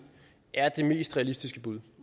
er det mest realistiske bud